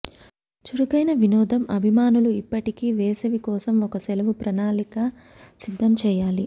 చురుకైన వినోదం అభిమానులు ఇప్పటికీ వేసవి కోసం ఒక సెలవు ప్రణాళిక సిద్ధం చేయాలి